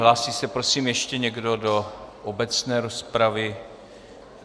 Hlásí se, prosím, ještě někdo do obecné rozpravy?